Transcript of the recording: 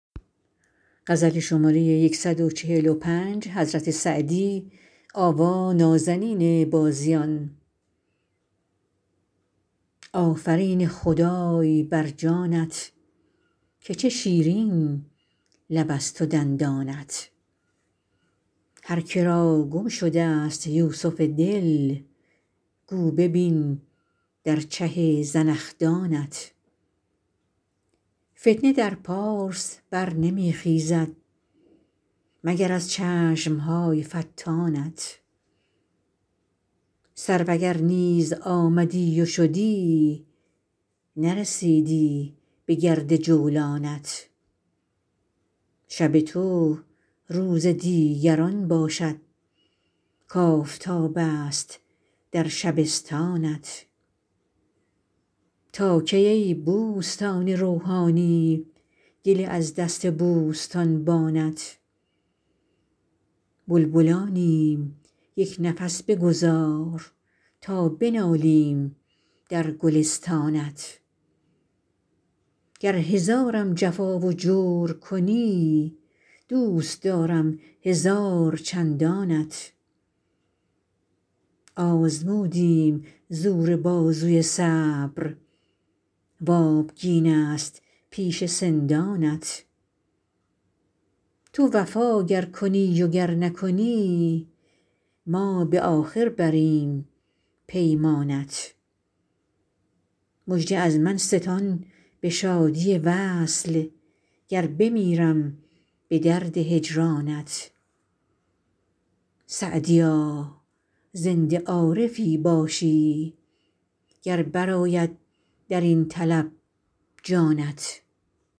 آفرین خدای بر جانت که چه شیرین لبست و دندانت هر که را گم شدست یوسف دل گو ببین در چه زنخدانت فتنه در پارس بر نمی خیزد مگر از چشم های فتانت سرو اگر نیز آمدی و شدی نرسیدی بگرد جولانت شب تو روز دیگران باشد کآفتابست در شبستانت تا کی ای بوستان روحانی گله از دست بوستانبانت بلبلانیم یک نفس بگذار تا بنالیم در گلستانت گر هزارم جفا و جور کنی دوست دارم هزار چندانت آزمودیم زور بازوی صبر و آبگینست پیش سندانت تو وفا گر کنی و گر نکنی ما به آخر بریم پیمانت مژده از من ستان به شادی وصل گر بمیرم به درد هجرانت سعدیا زنده عارفی باشی گر برآید در این طلب جانت